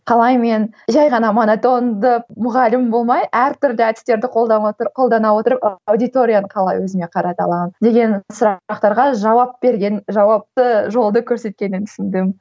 қалай мен жай ғана монотонды мұғалім болмай әртүрлі әдістерді қолдана қолдана отырып аудиторияны қалай өзіме қарата аламын деген сұрақтарға жауап берген жауапты жолды көрсеткенін түсіндім